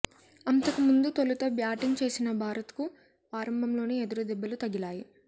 అంతకుముందు తొలుత బ్యాటింగ్ చేసిన భారత్కు ఆరంభంలోనే ఎదురు దెబ్బలు తగిలాయి